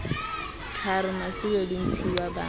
tharo masilo le ntshiuwa ba